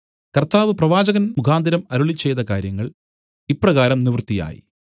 കർത്താവ് പ്രവാചകൻമുഖാന്തരം അരുളിച്ചെയ്ത കാര്യങ്ങൾ ഇപ്രകാരം നിവർത്തിയായി